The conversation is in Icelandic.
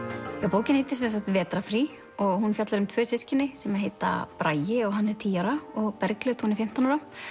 bókin heitir vetrarfrí og fjallar um tvö systkini sem heita Bragi og hann er tíu ára og Bergljót hún er fimmtán ára